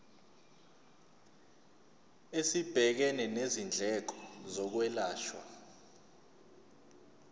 esibhekene nezindleko zokwelashwa